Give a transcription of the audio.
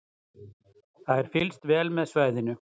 Það er fylgst vel með svæðinu